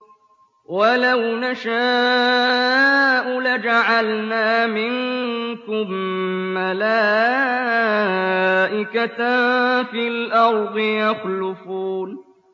وَلَوْ نَشَاءُ لَجَعَلْنَا مِنكُم مَّلَائِكَةً فِي الْأَرْضِ يَخْلُفُونَ